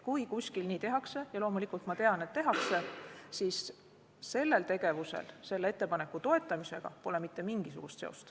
Kui kuskil nii tehakse – ja loomulikult ma tean, et tehakse –, siis sellel tegevusel pole ettepaneku toetamisega mitte mingisugust seost.